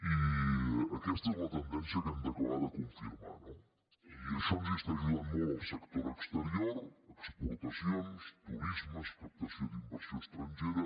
i aquesta és la tendència que hem d’acabar de confirmar no i en això ens hi està ajudant molt el sector exterior exportacions turisme captació d’inversió estrangera